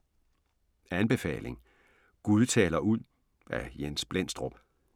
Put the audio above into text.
Anbefaling: "Gud taler ud" af Jens Blendstrup